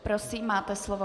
Prosím, máte slovo.